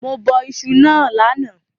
Mo bọ isu náà lánàá